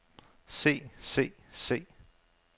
se se se